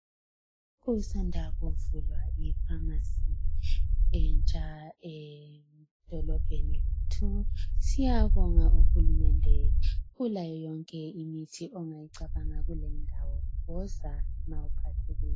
Kusanda kuvulwa ipharmacy entsha edolobheni lethu. Siyabonga uhulumende ulayo yonke imithi ongayicabanga kulindawo. Woza nxa uphathekile.